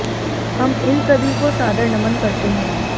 हम इन सभी को सादर नमन करते हैं